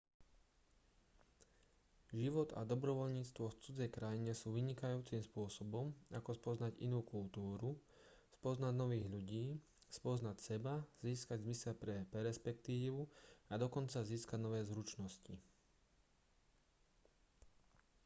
život a dobrovoľníctvo v cudzej krajine sú vynikajúcim spôsobom ako spoznať inú kultúru spoznať nových ľudí spoznať seba získať zmysel pre perspektívu a dokonca získať nové zručnosti